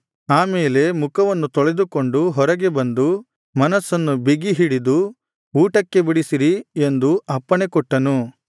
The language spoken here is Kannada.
ಆ ಮೇಲೆ ಮುಖವನ್ನು ತೊಳೆದುಕೊಂಡು ಹೊರಗೆ ಬಂದು ಮನಸ್ಸನ್ನು ಬಿಗಿ ಹಿಡಿದು ಊಟಕ್ಕೆ ಬಡಿಸಿರಿ ಎಂದು ಅಪ್ಪಣೆ ಕೊಟ್ಟನು